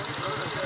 Harada?